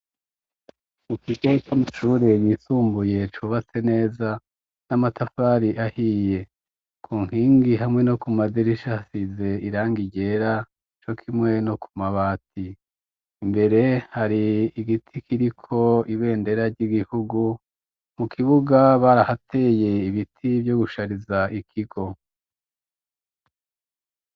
Mu kigo c'amashure yisumbuye cubatse neza n'amatafari ahiye. Ku nkingi hamwe no ku madirishi hasize irangi ryera, co kimwe no ku mabati. Imbere har'igiti kiriko ibendera ry'igihugu. Mu kibuga barahateye ibiti vyo gushariza ikigo.